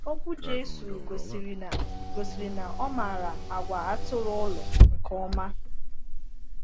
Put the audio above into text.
Okwu Jésù gosiri na gosiri na ọ maara àgwà atụrụ ụlọ nke ọma.